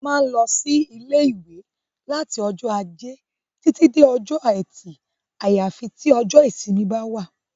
A má ń lọ sí ilé ìwé láti ọjọ́ ajé títí dé ọjọ́ ẹtì àyàfi tí ọjọ́ ìsinmi bá wà